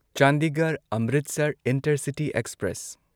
Chandigarh Amritsar intercity express